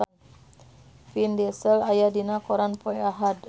Vin Diesel aya dina koran poe Ahad